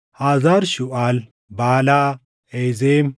Hazar Shuuʼaal, Baalaa, Ezem,